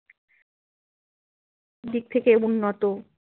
অনেক দিক থেকে উন্নত।